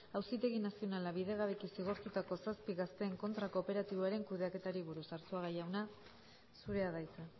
auzitegi nazionalak bidegabeki zigortutako zazpi gazteen kontrako operatiboaren kudeaketari buruz arzuaga jauna zurea da hitza